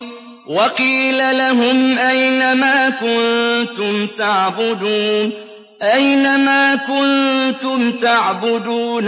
وَقِيلَ لَهُمْ أَيْنَ مَا كُنتُمْ تَعْبُدُونَ